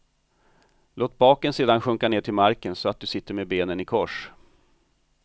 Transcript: Låt baken sedan sjunka ned till marken så att du sitter med benen i kors.